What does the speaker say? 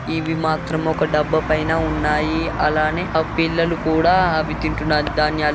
ఇవి మాత్రం ఒక డబ్బా పైన ఉన్నాయి. అలానే ఆ పిల్లలు కూడా అవి తింటున్నారు ధాన్యాలు.